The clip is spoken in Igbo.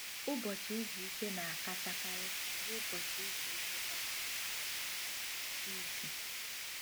Ụbọchị izu ike na-akachakarị bụ ụbọchị izu ike kwa izu.